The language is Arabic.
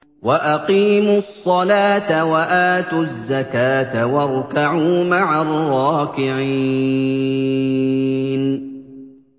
وَأَقِيمُوا الصَّلَاةَ وَآتُوا الزَّكَاةَ وَارْكَعُوا مَعَ الرَّاكِعِينَ